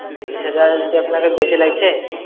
তিরিশ হাজার যদি আপনাকে বেশি লাগছে।